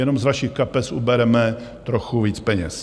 Jenom z vašich kapes ubereme trochu víc peněz.